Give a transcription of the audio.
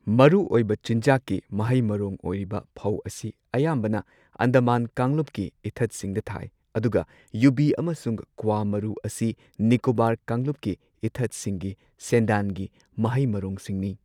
ꯃꯔꯨꯑꯣꯏꯕ ꯆꯤꯟꯖꯥꯛꯀꯤ ꯃꯍꯩ ꯃꯔꯣꯡ ꯑꯣꯏꯔꯤꯕ ꯐꯧ ꯑꯁꯤ ꯑꯌꯥꯝꯕꯅ ꯑꯟꯗꯃꯥꯟ ꯀꯥꯡꯂꯨꯞꯀꯤ ꯏꯊꯠꯁꯤꯡꯗ ꯊꯥꯏ, ꯑꯗꯨꯒ ꯌꯨꯕꯤ ꯑꯃꯁꯨꯡ ꯀ꯭ꯋꯥ ꯃꯔꯨ ꯑꯁꯤ ꯅꯤꯀꯣꯕꯥꯔ ꯀꯥꯡꯂꯨꯞꯀꯤ ꯏꯊꯠꯁꯤꯡꯒꯤ ꯁꯦꯟꯗꯥꯟꯒꯤ ꯃꯍꯩ ꯃꯔꯣꯡꯁꯤꯡꯅꯤ꯫